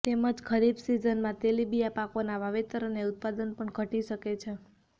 તેમજ ખરીફ સિઝનમાં તેલીબિયાં પાકોના વાવેતર અને ઉત્પાદન પણ ઘટી શકે છે